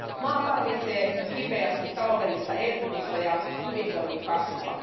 Maa tarvitsee nyt kipeästi taloudellista elpymistä ja hyvinvoinnin kasvua.